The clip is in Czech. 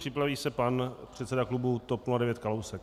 Připraví se pan předseda klubu TOP 09 Kalousek.